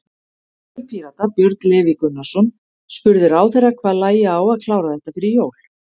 Þingmaður Pírata, Björn Leví Gunnarsson, spurði ráðherra hvað lægi á að klára þetta fyrir jól?